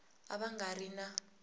a va nga ri na